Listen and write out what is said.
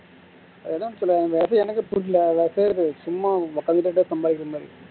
அது என்னனு சொல்லுவாங்க அது எனக்கே புரியல அது பேரு சும்மா இந்த சம்பாரிக்கிற மாதிரி